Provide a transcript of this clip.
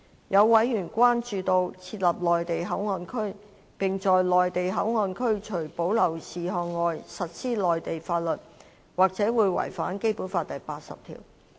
有委員關注到，設立內地口岸區，並在內地口岸區除保留事項外實施內地法律，或會違反《基本法》第八十條。